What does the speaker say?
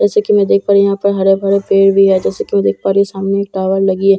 जैसा की मैं देख पा रही हूँ यहाँ पर हरे-भरे पेड़ भी हैं जैसा की मैं देख पा रही हूँ सामने एक टॉवर लगी है।